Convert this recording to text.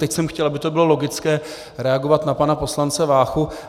Teď jsem chtěl, aby to bylo logické, reagovat na pana poslance Váchu.